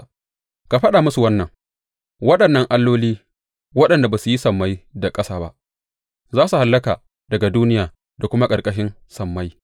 Ka faɗa musu wannan, Waɗannan alloli, waɗanda ba su yi sammai da ƙasa ba, za su hallaka daga duniya da kuma daga ƙarƙashin sammai.’